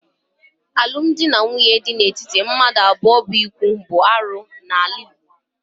Alụmdi na nwunye di n'etiti mmadụ abụọ bụ íkwù bụ arụ n'ala Igbo